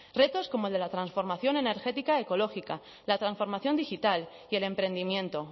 retos como de la transformación energética ecológica la transformación digital y el emprendimiento